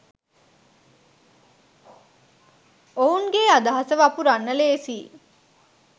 ඔවුන්ගේ අදහස වපුරන්න ලේසියි.